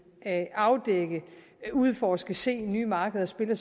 at afdække udforske se nye markeder spiller